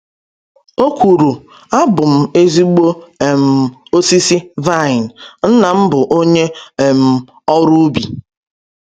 O kwuru: “Abụ m ezigbo um osisi vaịn, Nna m bụ onye um ọrụ ubi.”